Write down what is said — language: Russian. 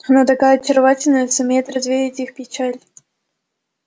она такая очаровательная сумеет развеять их печаль